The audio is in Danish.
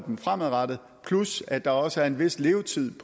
dem fremadrettet plus at der også er en vis levetid